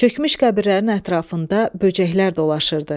Çökmüş qəbirlərin ətrafında böcəklər dolaşırdı.